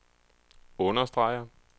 understreger